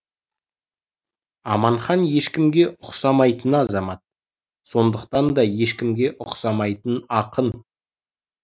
аманхан ешкімге ұқсамайтын азамат сондықтан да ешкімге ұқсамайтын ақын